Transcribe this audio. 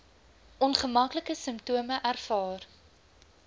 ongemaklike simptome ervaar